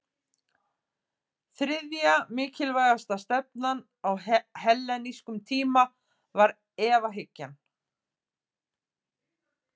Þriðja mikilvægasta stefnan á hellenískum tíma var efahyggjan.